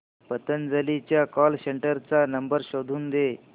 पतंजली च्या call centre चा number शोधून दे